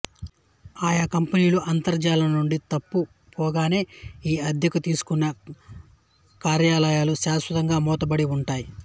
ఆయా కంపెనీలు అంతర్జాలం నుండి తప్పు పోగానే ఈ అద్దెకు తీసుకున్న కార్యాలయాలు శాశ్వతంగా మూతపడి ఉంటాయి